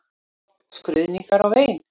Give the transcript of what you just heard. Skruðningar og vein.